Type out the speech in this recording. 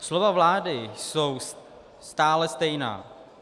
Slova vlády jsou stále stejná.